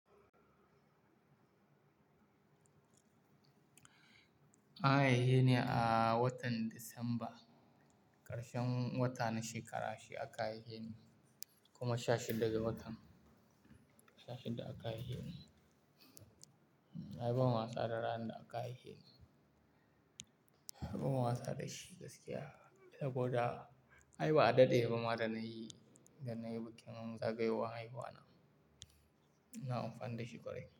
An haihe ni a watan Disamba, ƙarshen wata na shekara shi aka haiheni kuma sha shida ga watan, sha shida aka haiheni Ai ban wasa da ranar da aka haihe ni. Ban wasa da shi gaskiya saboda ai ba a daɗe ba ma da na yi, da na yi bikin zagayowar haihuwa na. Na amfana da shi ƙwarai.